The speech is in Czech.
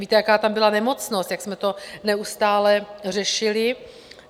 Víte, jaká tam byla nemocnost, jak jsme to neustále řešili.